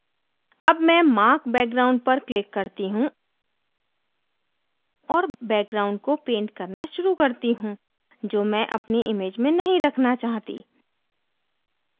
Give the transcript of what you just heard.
अब मैं mark background पर click करती हूँ और background को पेंट करना शुरू करती हूँ जो मैं अपनी image में नहीं रखना चाहती